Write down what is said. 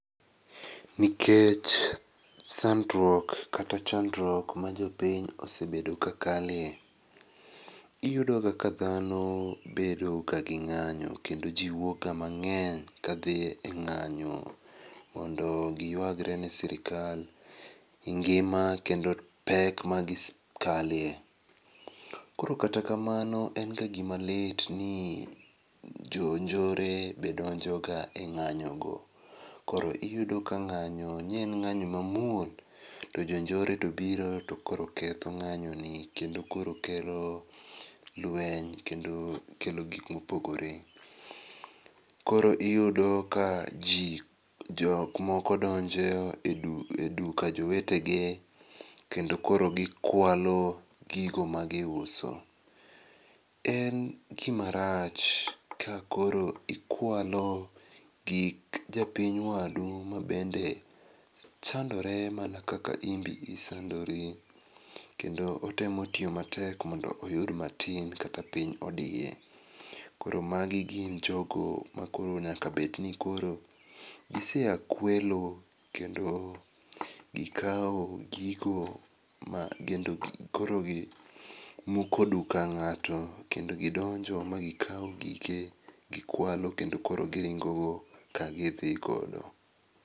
Nikech sandruok kata chandruok majopiny osebedo kakalie, iyudoga ka dhano bedoga gi ng'anyo kendo jii wuokga mang'eny kadhi e ng'anyo mondo giyuagre ne sirikal e ngima kendo pek magisekalie. Koro kata kamano en ga gimalit ni jonjore be donjoga e ng'anyo go koro iyudo ka nga'nyo ne en ng'anyo mamuol to jonjore tobiro tokoro ketho ng'anyoni kendo koro kelo lweny kendo kelo gikma opogore. Koro iyudo ka jii jokmoko donje e duka jowetegi, kendo koro gikwalo gigo magiuso. En gimarach kakolo ikualo gik japiny wadu mabende sandore mana kaka inbi isandori, kendo otemo tiyo matek mondo oyud matin kata piny odiye. Koro magi gin jogo makoro nyaka bedni koro giseya kuelo, kendo gikao gigo makoro gimuko duka ng'ato kendo gidonjo magikao gike gikwalo kendo koro giringo go kagidhi godo.